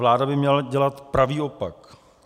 Vláda by měla dělat pravý opak.